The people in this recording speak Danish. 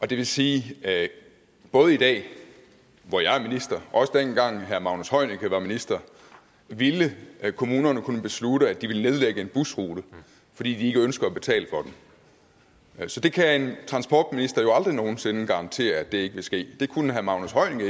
det vil sige at både i dag hvor jeg er minister og dengang herre magnus heunicke var minister ville kommunerne kunne beslutte at de ville nedlægge en busrute fordi de ikke ønsker at betale for den så det kan en transportminister jo aldrig nogen sinde garantere ikke vil ske det kunne herre magnus